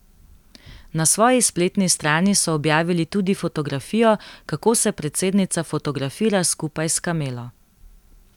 Na svoji spletni strani so objavili tudi fotografijo, kako se predsednica fotografira skupaj s kamelo.